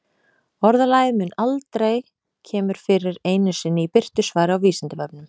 Orðalagið mun aldrei kemur fyrir einu sinni í birtu svari á Vísindavefnum.